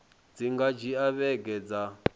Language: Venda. dzi nga dzhia vhege dza